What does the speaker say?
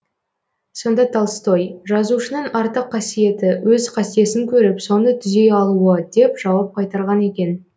сонда толстой жазушының артық қасиеті өз қатесін көріп соны түзей алуы деп жауап қайтарған екен